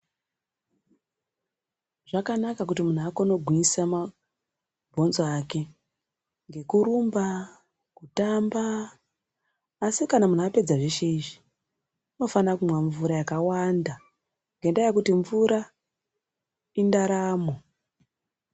Zvakanaka kuti mundu akone gwinyisa ma bhonzo ake ngekurumba kutamba asi kana apedza zveshe izvi unofane kumwa mvura yakawanda ngendaya yekuti mvura indaramo